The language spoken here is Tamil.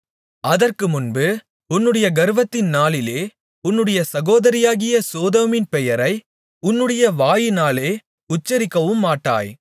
அதற்கு முன்பு உன்னுடைய கர்வத்தின் நாளிலே உன்னுடைய சகோதரியாகிய சோதோமின் பெயரை உன்னுடைய வாயினாலே உச்சரிக்கவுமாட்டாய்